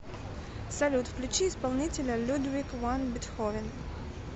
салют включи исполнителя людвиг ван бетховен